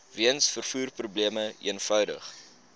weens vervoerprobleme eenvoudig